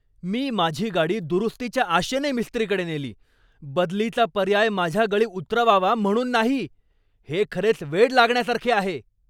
मी माझी गाडी दुरुस्तीच्या आशेने मिस्त्रीकडे नेली, बदलीचा पर्याय माझ्या गळी उतरवावा म्हणून नाही! हे खरेच वेड लागण्यासारखे आहे.